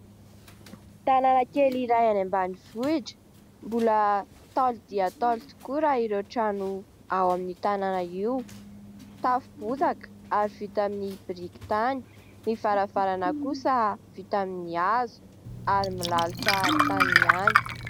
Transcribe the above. Tanàna kely iray any ambanivohitra, mbola ntaolo dia ntaolo tokoa raha ireo trano ao amin'ny tanàna io, tafo bozaka ary vita amin'ny biriky tany ny varavarana kosa vita amin'ny hazo ary milalotra tany ihany.